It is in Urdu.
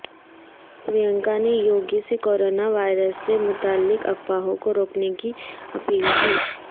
پرینکا نے یوگی سے کرونا وائرس سے متعلق افواہوں کو روکنے کی اپیل کی